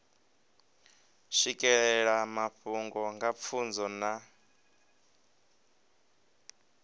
swikelela mafhungo nga pfunzo na